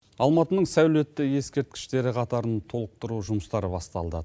алматының сәулетті ескерткіштері қатарын толықтыру жұмыстары басталды